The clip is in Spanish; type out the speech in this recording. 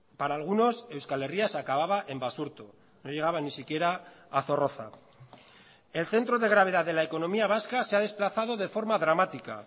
para algunos euskal herria se acababa en basurto no llegaba ni siquiera a zorroza el centro de gravedad de la economía vasca se ha desplazado de forma dramática